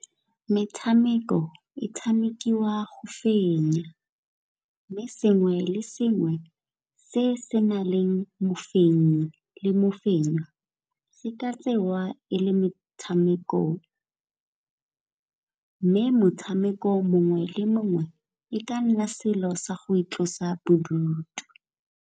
Metshameko e tshamekiwa go fenya mme sengwe le sengwe se se na leng mafenya le mafenywa se ka tsewa e le metshameko. Mme motshameko mongwe le mongwe e ka nna selo sa go itlosa bodutu.